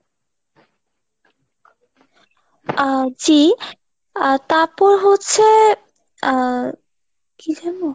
আহ জি আহ তারপর হচ্ছে আহ কি যেন ?